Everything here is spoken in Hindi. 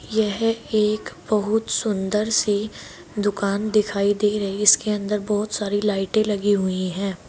यह एक बहुत सुंदर सी दुकान दिखाई दे रही इसके अंदर बहुत सारी लाइटें लगी हुई है।